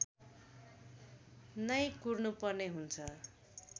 नै कुर्नुपर्ने हुन्छ